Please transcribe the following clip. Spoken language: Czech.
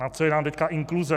Na co je nám teď inkluze?